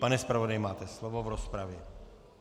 Pane zpravodaji, máte slovo v rozpravě.